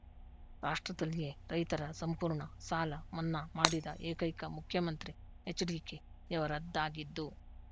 ರಾಷ್ಟ್ರದಲ್ಲಿಯೆ ರೈತರ ಸಂಪೂರ್ಣ ಸಾಲ ಮನ್ನಾ ಮಾಡಿದ ಏಕೈಕ ಮುಖ್ಯಮಂತ್ರಿ ಹೆಚ್ಡಿಕೆಯವರದ್ದಾಗಿದ್ದು